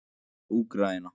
Úkraína